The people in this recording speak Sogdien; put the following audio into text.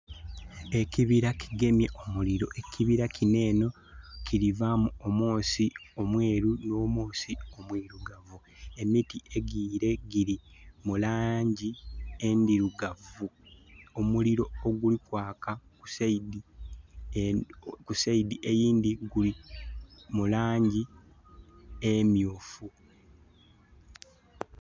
Ekibira kigemye omuliro. Ekibira kinho enho kili vaamu omwoosi omweeru nh'omwoosi omwirugavu. Emiti egiyiire gili mu langi endhirugavu. Omuliro oguli kwaka ku side..ku side eyindhi guli mu langi emyuufu.